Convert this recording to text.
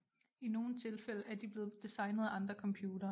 I nogle tilfælde er de blevet designet af andre computere